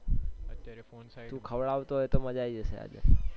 તું ખવડાવીશ તો મજ્જા આવી જશે